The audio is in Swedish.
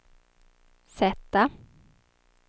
Z